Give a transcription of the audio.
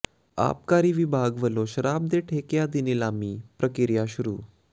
ਆਬਕਾਰੀ ਵਿਭਾਗ ਵਲੋਂ ਸ਼ਰਾਬ ਦੇ ਠੇਕਿਆਂ ਦੀ ਨਿਲਾਮੀ ਪ੍ਰਕਿਰਿਆ ਸ਼ੁਰੂ